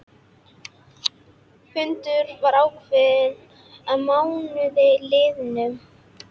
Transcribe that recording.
Fundur var ákveðinn að mánuði liðnum.